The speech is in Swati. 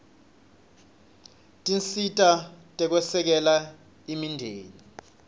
tinsita tekwesekela imindeni